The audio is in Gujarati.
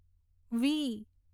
વી